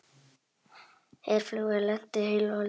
Herflugvél lenti heilu og höldnu